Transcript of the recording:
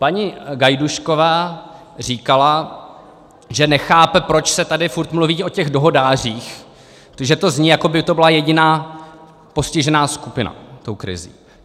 Paní Gajdůšková říkala, že nechápe, proč se tady furt mluví o těch dohodářích, že to zní, jako by to byla jediná postižená skupina, tou krizí.